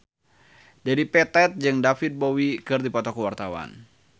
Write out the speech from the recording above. Dedi Petet jeung David Bowie keur dipoto ku wartawan